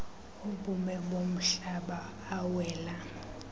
obume bomhlaba awela